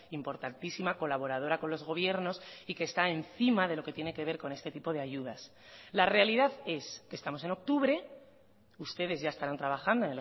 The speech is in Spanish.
importantísima colaboradora con los gobiernos y que está encima de lo que tiene que ver con este tipo de ayudas la realidad es que estamos en octubre ustedes ya estarán trabajando